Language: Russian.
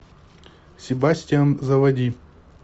себастиан заводи